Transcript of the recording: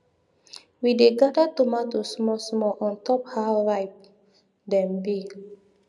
we dey gather tomato small small ontop how ripe dem be